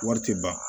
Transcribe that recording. Wari tɛ ban